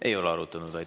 Ei ole arutanud.